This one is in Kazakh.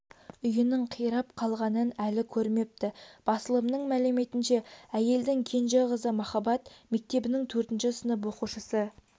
үйінің қирап қалғанын әлі көрмепті басылымның мәліметінше әйелдің кенже қызы махаббат мектебінің төртінші сынып оқушысы